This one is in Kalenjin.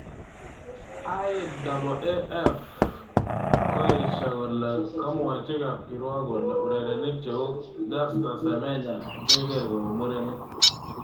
IAAF kokoesho kole komwochi kapkirwok kole urerenik cheu Caster Semenya keker kou murenik.